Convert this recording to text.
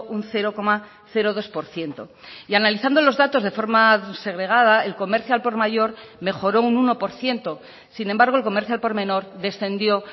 un cero coma dos por ciento y analizando los datos de forma segregada el comercio al por mayor mejoró un uno por ciento sin embargo el comercio al por menor descendió